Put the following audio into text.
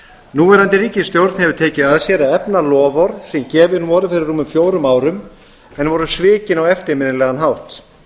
núverandi ríkisstjórn hefur tekið að sér að efna loforð sem gefin voru fyrir rúmum fjórum árum en voru svikin á eftirminnilegan hátt